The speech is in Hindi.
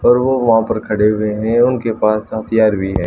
और वो वहाँ पर खड़े हुए हैं उनके पास हथियार भी है।